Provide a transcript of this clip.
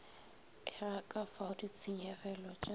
ega kafao ditshenyegelo t a